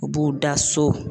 U b'u da so